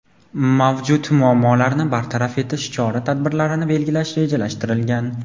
mavjud muammolarni bartaraf etish chora-tadbirlarini belgilash rejalashtirilgan.